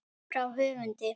Frá höfundi